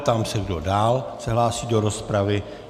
Ptám se, kdo dál se hlásí do rozpravy.